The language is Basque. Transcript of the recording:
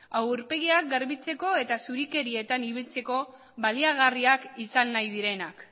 aurpegiak garbitzeko eta zurikerietan ibiltzeko baliagarriak izan nahi direnak